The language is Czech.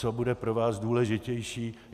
Co bude pro vás důležitější?